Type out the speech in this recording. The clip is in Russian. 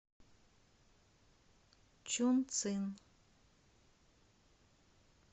чунцин